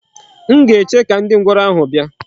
M ga-eche ka ndi ngworo ahu bia.